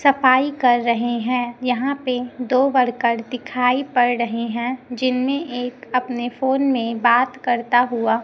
सफाई कर रहे है यहां पे दो वर्कर दिखाई पड़ रहे है जिनमे एक अपने फोन में बात करता हुआ--